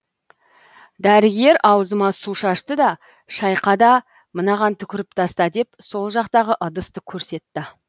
дәрігер ауызыма су шашты да шайқа да мынаған түкіріп таста деп сол жақтағы ыдысты көрсетті